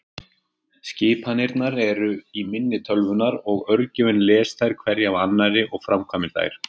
Skipanirnar eru í minni tölvunnar og örgjörvinn les þær hverja af annari og framkvæmir þær.